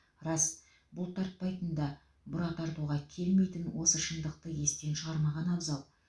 рас бұлтартпайтын да бұра тартуға келмейтін осы шындықты естен шығармаған абзал